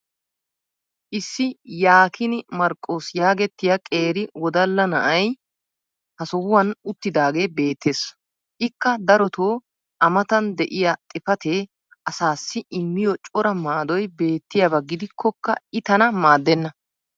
issi yaakiinii marqoos yaagettiya qeeri wodalla na"ay ha sohuwan uttidaagee beettees. ikka darotoo a matan diya xifatee asaassi immiyo cora maadoy beettiyaaba gidikkokka i tana maadenna.